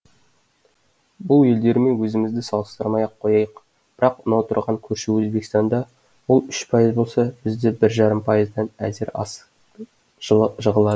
бұл елдермен өзімізді салыстырмай ақ қояйық бірақ мынау тұрған көрші өзбекстанда ол үш пайыз болса бізде бір жарым пайыздан әзер асып жығылады